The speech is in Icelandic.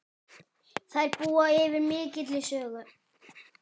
Þær búa yfir mikilli sögu.